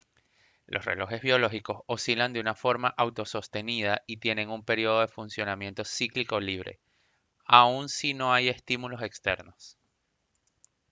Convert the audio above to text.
los relojes biológicos oscilan de forma autosostenida y tienen un período de funcionamiento cíclico libre aun si no hay estímulos externos